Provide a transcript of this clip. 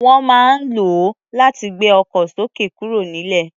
Wọ́n máa ń lò ó láti gbé ọkọ̀ sókè kúrò nílẹ̀.